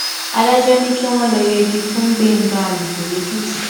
adájọ ni kí wọn lọọ yẹgi fún gbẹngà àlùkò lẹkìtì